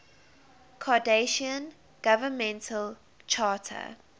cardassian governmental charter